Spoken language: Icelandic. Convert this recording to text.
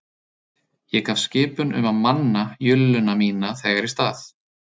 Ég gaf skipun um að manna julluna mína þegar í stað